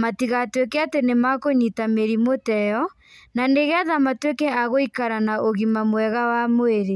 matigatuĩke atĩ nĩ makũnyita mĩrimũ ta ĩyo, na nĩgetha matuĩke a gũikara na ũgima mwega wa mwĩrĩ.